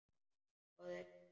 Fáðu þér kaffi.